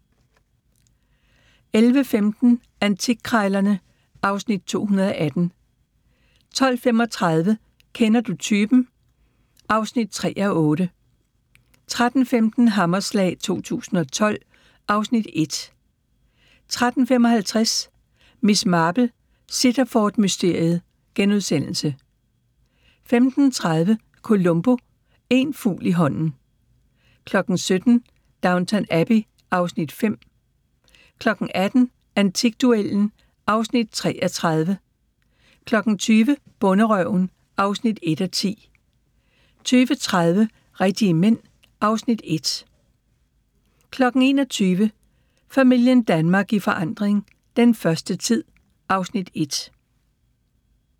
11:15: Antikkrejlerne (Afs. 218) 12:35: Kender du typen? (3:8) 13:15: Hammerslag 2012 (Afs. 1) 13:55: Miss Marple: Sittaford-mysteriet * 15:30: Columbo: Én fugl i hånden ... 17:00: Downton Abbey (Afs. 5) 18:00: Antikduellen (3:30) 20:00: Bonderøven (1:10) 20:30: Rigtige Mænd (Afs. 1) 21:00: Familien Danmark i forandring – den første tid (Afs. 1)